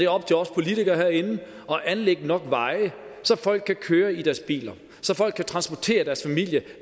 op til os politikere herinde at anlægge nok veje så folk kan køre i deres biler og så folk kan transportere deres familie